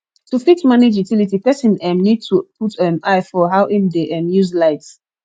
to fit manage utility person um need to put um eye for how im dey um use light